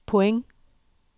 point